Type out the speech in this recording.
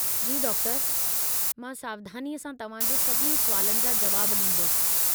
जी डॉक्टरु! मां सावधानीअ सां तव्हां जे सभिनी सुवालनि जा जुवाब ॾींदुसि।